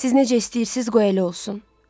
Siz necə istəyirsiniz, qoy elə olsun.